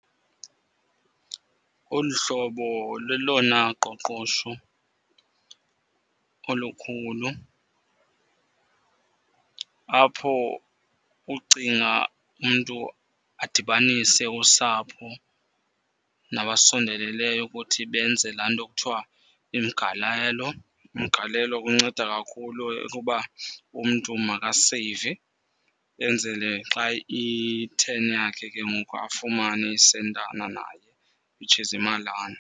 Olu hlobo lelona qoqosho olukhulu apho ucinga umntu adibanise usapho nabasondeleleyo ukuthi benze laa nto kuthiwa umgalelo. Umgalelo unceda kakhulu ukuba umntu makaseyive. Enzele xa iyi-turn yakhe ke ngoku afumane iisentana naye, which is imalana.